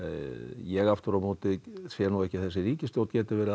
ég aftur á móti sé nú ekki að þessi ríkisstjórn geti verið